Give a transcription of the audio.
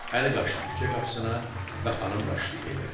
Əli qaçdı küçə qapısına və xanım qaçdı evə.